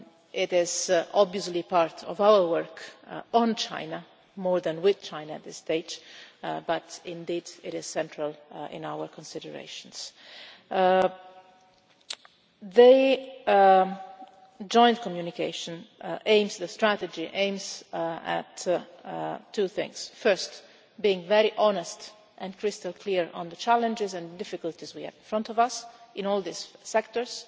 It is obviously part of our work on China more than with China at this stage, but indeed it is central in our considerations. The joint communication aims the strategy at two things. First, being very honest and crystal clear on the challenges and difficulties we have in front of us in all these sectors